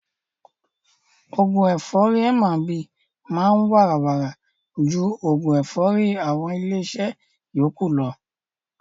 Oògún ẹ̀fọ́rì M&B máa ń wàrà wàrà ju oògún ẹ̀fọ́rì àwọn ilé iṣẹ́ yókù lọ.